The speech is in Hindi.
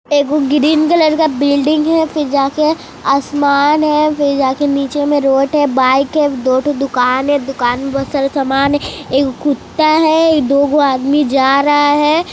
एगो ग्रीन कलर का बिल्डिंग है फिर जाके आसमान है फिर जाके निचे में रोड है बाइक है दो ठो दुकान है दुकान में बहुत सारा समान है एगो कुत्ता है दोगो आदमी जा रहा है।